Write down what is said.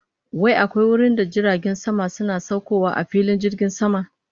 Wai akwai wurinda jiragen sama suna saukowa a filin jirgin sama?